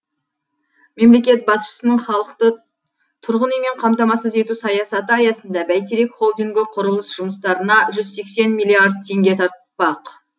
мемлекет басшысының халықты тұрғын үймен қамтамассыз ету саясаты аясында бәйтерек холдингі құрылыс жұмыстарына жүз сексен миллиард теңге тартпақ